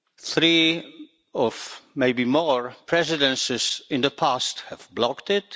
three or maybe more Presidencies in the past have blocked it.